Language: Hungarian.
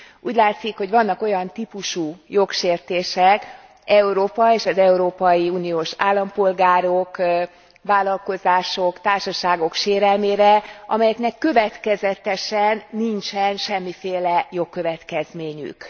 Úgy látszik, hogy vannak olyan típusú jogsértések Európa és az európai uniós állampolgárok, vállalkozások, társaságok sérelmére, amelyeknek következetesen nincsen semmiféle jogkövetkezményük.